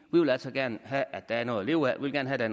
vi vil altså gerne have at der er noget at leve af vi vil gerne have at